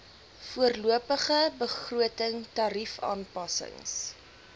voorlopige begroting tariefaanpassings